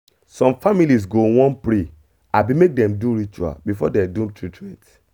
some families go wan pray abi make dem do ritual before dem do treatment.